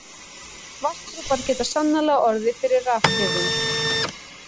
Vatnsdropar geta sannarlega orðið fyrir rafhrifum.